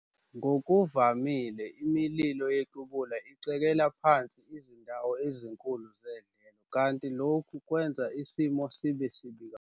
Ngokuvamile imililo yequbula icekela phansi izindawo ezinkulu zedlelo kanti lokhu kwenza isimo sibe sibi kakhulu.